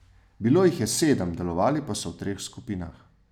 Bilo jih je sedem, delovali pa so v treh skupinah.